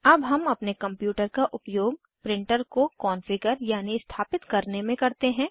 अब हम अपने कंप्यूटर का उपयोग प्रिंटर को कॉन्फ़िगर यानि स्थापित करने में करते हैं